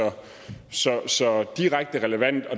direkte relevant